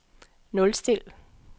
nulstil